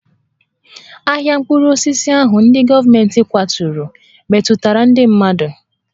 Ahịa mkpụrụ osisi ahụ ndị gọọmentị kwaturu metụtara ndị mmadụ